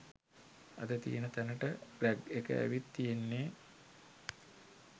අද තියෙන තැනට රැග් එක ඇවිත් තියෙන්නේ